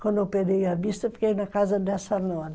Quando operei a vista, eu fiquei na casa dessa nora.